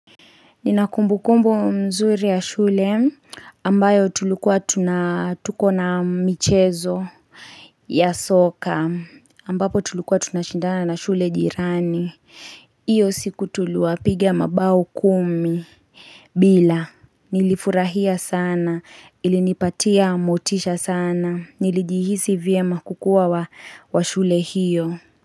Ninakumbu kumbu mzuri ya shule ambayo tulukua tunatuko na michezo ya soka ambapo tulukua tunashindana na shule jirani. Iyo siku tulua pigia mabau kumi. Bila nilifurahia sana ilinipatia amotisha sana nilijihisi vye makukuwa wa shule hiyo.